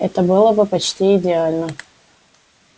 это было бы почти идеально